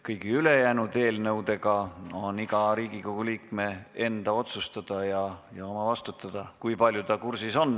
Kõigi ülejäänud eelnõude puhul on iga Riigikogu liikme enda otsustada ja oma vastutada, kui palju ta kursis on.